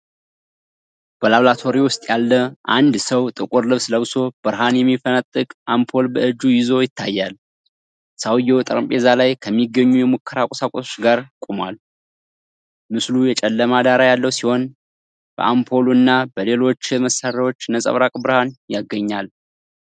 በላቦራቶሪ ውስጥ ያለ አንድ ሰው ጥቁር ልብስ ለብሶ ብርሃን የሚፈነጥቅ አምፖል በእጁ ይዞ ይታያል። ሰውዬው ጠረጴዛ ላይ ከሚገኙ የሙከራ ቁሳቁሶች ጋር ቆሟል። ምስሉ የጨለማ ዳራ ያለው ሲሆን፣ በአምፖሉ እና በሌሎች የመሳሪያዎች ነጸብራቅ ብርሃን ያገኛል።